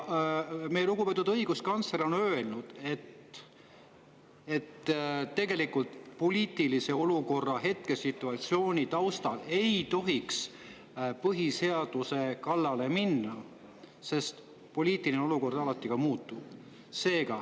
Meie lugupeetud õiguskantsler on öelnud, et tegelikult ei tohiks poliitilise hetkesituatsiooni ajel põhiseaduse kallale minna, sest poliitiline olukord on alati muutuv.